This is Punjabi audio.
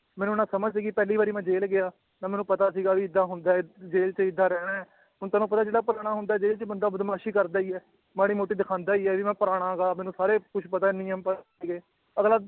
ਮੈਨੂੰ ਨਾ ਸਮਝ ਸੀਗੀ ਪਹਿਲੀ ਵਾਰ ਮੈਂ ਜੇਲ੍ਹ ਗਿਆ, ਨਾ ਮੈਨੂੰ ਪਤਾ ਸੀਗਾ ਵੀ ਏਦਾਂ ਹੁੰਦਾ ਹੈ ਜੇਲ੍ਹ ਚ ਏਦਾਂ ਰਹਿਣਾ ਹੈ, ਹੁਣ ਤੁਹਾਨੂੰ ਪਤਾ ਜਿਹੜਾ ਪੁਰਾਣਾ ਹੁੰਦਾ ਹੈ ਜੇਲ੍ਹ ਚ ਬੰਦਾ ਬਦਮਾਸ਼ੀ ਕਰਦਾ ਹੀ ਹੈ, ਮਾੜੀ ਮੋਟੀ ਦਿਖਾਉਂਦਾ ਹੀ ਹੈ ਵੀ ਮੈਂ ਪੁਰਾਣਾ ਗਾ ਮੈਨੂੰ ਸਾਰੇ ਕੁਛ ਪਤਾ ਨਿਯਮ ਪ ਅਗਲਾ